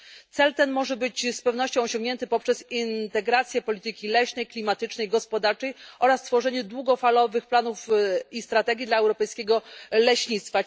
Cel ten może być z pewnością osiągnięty poprzez integrację polityki leśnej, klimatycznej, gospodarczej oraz tworzenie długofalowych planów i strategii dla europejskiego leśnictwa.